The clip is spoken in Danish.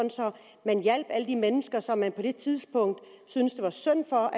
man hjalp alle de mennesker som man på det tidspunkt synes det var synd for